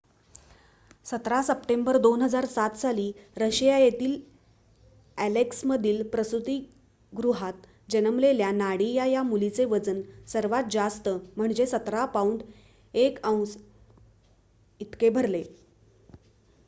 १७ September २००७ साली Russia येथील अॅलेक्समधील प्रसूतिगृहात जन्मलेल्या नाडिया या मुलीचे वजन सर्वात जास्त म्हणजे १७ पाउंड १ औंस इतके भरले